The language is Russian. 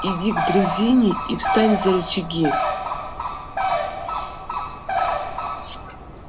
иди к дрезине и встань за рычаги